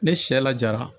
Ne sɛ lajara